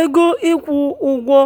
ego ịkwụ ụgwọ